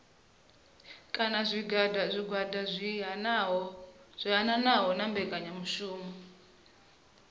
kana zwigwada zwi hanaho mbekanyamishumo